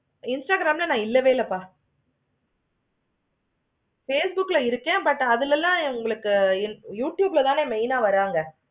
instagram ல நான் இல்லவே இல்லைப்பா facebook lஎ இருக்கேன். but அதுல எல்லாம் உங்களுக்கு youtube தான் main ஆஹ் வருவாங்க